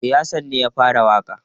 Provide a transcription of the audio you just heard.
E, Hassan ne ya fara waƙa.